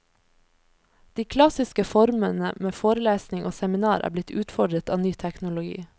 De klassiske formene med forelesning og seminar er blitt utfordret av ny teknologi.